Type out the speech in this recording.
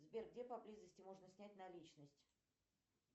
сбер где поблизости можно снять наличность